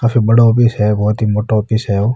काफी बड़ा ऑफिस है मोटा ऑफिस है ओ --